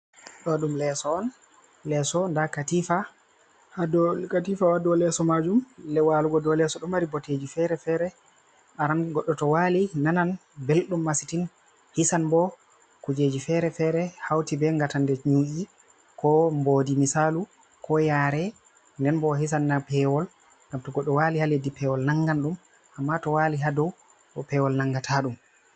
Do dum leeso on lesso da katifa ha dow leso majum lewalugo do leso do mari boteji fere-fere aran godo to wali nanan beldum masitin hisan bo kujeji fere-fere hauti be gatan de nyu’i, ko mbodi, misalu ko yare, nden bo o hisanna pewol gamto goddo wali ha leddi pewol nangan dum amma to wali hadoo pewol nangata dum.